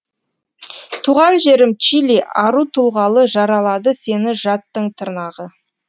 туған жерім чили ару тұлғалы жаралады сені жаттың тырнағы